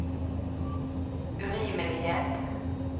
urimelighet